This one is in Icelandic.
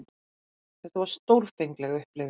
Þetta var stórfengleg upplifun.